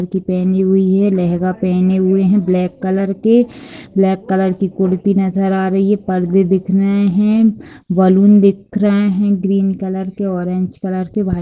लड़की पहनी हुई है लेहंगा पेहने हुए है ब्लैक कलर के ब्लैक कलर के कुर्ती नजर आ रही है पर्दे दिख रहे है बलून दिख रहे है ग्रीन कलर के ऑरेंज कलर के वाइट --